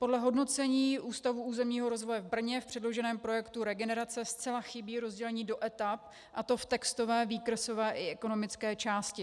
Podle hodnocení Ústavu územního rozvoje v Brně v předloženém projektu regenerace zcela chybí rozdělení do etap, a to v textové, výkresové i ekonomické části.